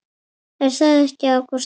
Er það ekki Ágústa?